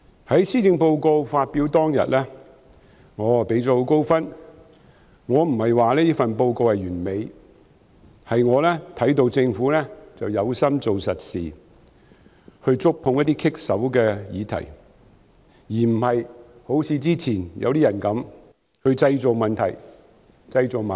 在施政報告發表當天，我給它很高分數，並非因為這份施政報告完美，而是我看到政府有心做實事，願意觸碰一些棘手的議題，並不是好像以前一些人般製造問題和矛盾。